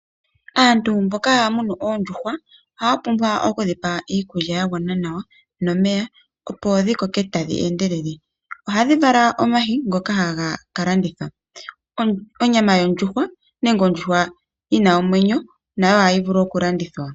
Aantu mboka haya munu oondjuhwa ohaya pumbwa okudhipa iikulya yagwana nawa nomeya opo dhi koke tadhi endelele. Ohadhi vala omayi ngoka haga kalandithwa. Onyama yondjuhwa nenge ondjuha yina omwenyo nayo ohayi vulu okulandithwa.